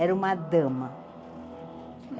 Era uma dama.